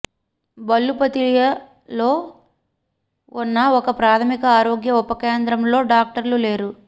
బెల్లుపతియలో ఉన్న ఒక ప్రాథమిక ఆరోగ్య ఉప కేంద్రంలో డాక్టర్లు లేరు